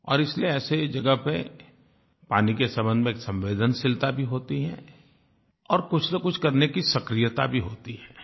और इसलिए ऐसी जगह पर पानी के संबंध में एक संवेदनशीलता भी होती है और कुछनकुछ करने की सक्रियता भी होती है